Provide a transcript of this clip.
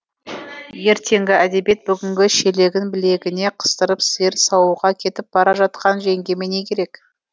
ертеңгі әдебиет бүгінгі шелегін білегіне қыстырып сиыр саууға кетіп бара жатқан жеңгеме не керек